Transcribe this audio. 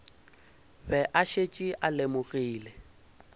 be a šetše a lemogile